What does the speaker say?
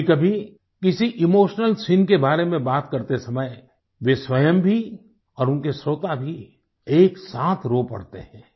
कभीकभी किसी emotional scene के बारे में बात करते समय वे स्वयं भी और उनके श्रोता भी एकसाथ रो पड़ते हैं